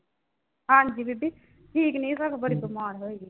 ਹਾਂਜੀ ਬੀਬੀ ਠੀਕ ਨਈਂ ਸਗੋਂ ਬੜੀ ਬਿਮਾਰ ਹੋਈ ਵੀ ਆ।